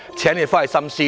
請局長回去後深思。